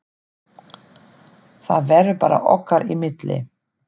Það verður bara okkar í milli.